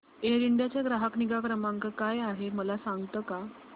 air India चा ग्राहक निगा क्रमांक काय आहे मला सांगता का